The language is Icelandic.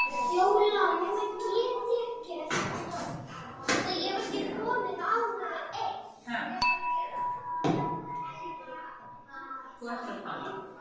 Ég þoli ekki rapp Nei, þú veist ekkert um rapp.